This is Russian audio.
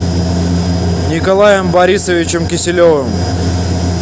николаем борисовичем киселевым